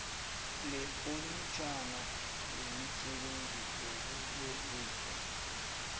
lekomitjhana yemisebenzi yobulungiswa